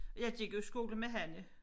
Jeg gik jo i skole med Hanne